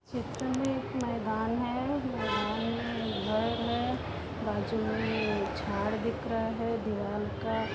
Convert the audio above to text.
एक मैदान है। मैदान में एक घर है बाजू में एक झाड़ दिख रहा है। दीवाल का --